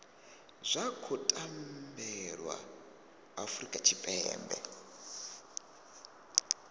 zwa khou tambelwa afurika tshipembe